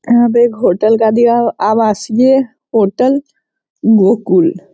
यहाँ पे एक होटल का दिया हुआ आवासीय होटल --